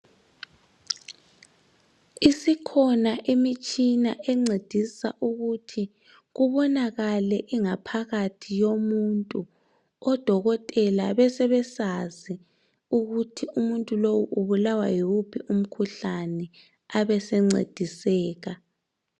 Isikhona imitshina encedisa ukuthi kubonakale ingaphakathi yomuntu odokotela besebesazi ukuthi umuntu lo ubulawa yiwuphi umkhuhlane abasencediseka